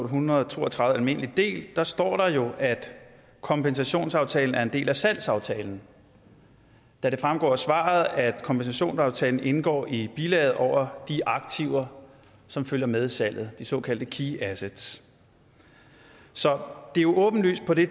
hundrede og to og tredive efk almindelig del står der jo at kompensationsaftalen er en del af salgsaftalen da det fremgår af svaret at kompensationsaftalen indgår i bilaget over de aktiver som følger med salget de såkaldte key assets så det er jo åbenlyst på det